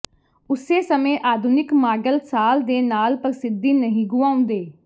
ਉਸੇ ਸਮੇਂ ਆਧੁਨਿਕ ਮਾਡਲ ਸਾਲ ਦੇ ਨਾਲ ਪ੍ਰਸਿੱਧੀ ਨਹੀਂ ਗੁਆਉਂਦੇ